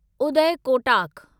उदय कोटाक